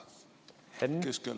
Henn!